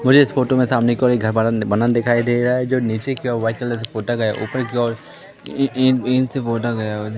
मुझे इस फोटो में सामने की ओर एक घड बना बना दिखाई दे रहा है जो नीचे की ओ वाइट कलर का पोता गया ऊपर की ओर इन इन इंक से पोता गया हुआ--